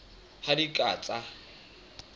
ha di a ka tsa